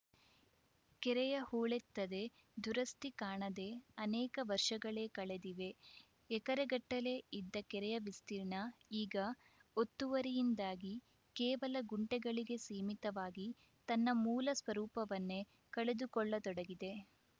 ಕೆರೆಯ ಹೂಳೆತ್ತದೆ ದುರಸ್ತಿ ಕಾಣದೇ ಅನೇಕ ವರ್ಷಗಳೇ ಕಳೆದಿವೆ ಎಕರೆಗಟ್ಟಲೇ ಇದ್ದ ಕೆರೆಯ ವಿಸ್ತೀರ್ಣ ಈಗ ಒತ್ತುವರಿಯಿಂದಾಗಿ ಕೇವಲ ಗುಂಟೆಗಳಿಗೆ ಸೀಮಿತವಾಗಿ ತನ್ನ ಮೂಲ ಸ್ವರೂಪವನ್ನೇ ಕಳೆದುಕೊಳ್ಳತೊಡಗಿದೆ